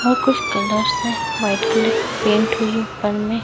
और कुछ कलर्स है व्हाइट कलर की पेंट हुई ऊपर में--